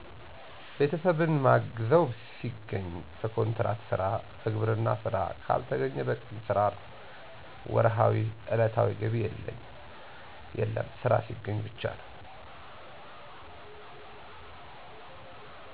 ቤተሰብን ማግዘው ሲገኝ በኮንትራት ስራ፣ በግብርና ስራ ካልተገኘ በቀን ስራ ነው። ወርሀዊ/ዕለታዊ ገቢ የለም ስራ ሲገኝ ብቻ ነው።